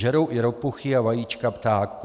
Žerou i ropuchy a vajíčka ptáků.